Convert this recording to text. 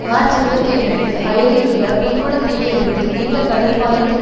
March இருபத்தி இரண்டு அயலில் உள்ள புங்குடு தீவில் இருந்து நீண்ட கடல் பாலத்தின்